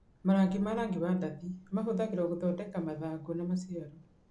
Marangi ma rangi wa ndathi mahũthagĩrũo gũthondeka mathangũ na maciaro